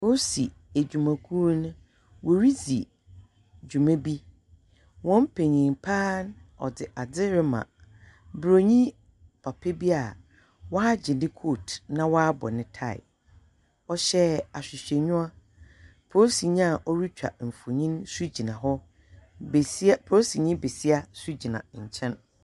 Polisi edwumakuono woridzi dwuma bi. Hɔn penyin pa ara no dze adzerema Buroni papa bi a ɔagye ne coat na ɔabɔ ne tie. Ɔhye ahwehwɛnyiwa. Polisinyi a ɔretwa mfonyin nso gyina hɔ. Besia polisinyi besia nso gyina nkyɛn.